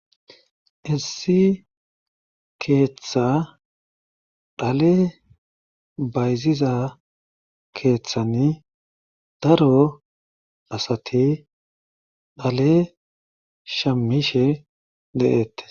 Issi keeththa dhale bayziza keeththani daro asati dhale shamishe de'eette.